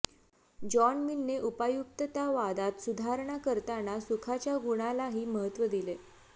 John मिलने उपयुक्ततावादात सुधारणा करताना सुखाच्या गुणालाही महत्त्व दिले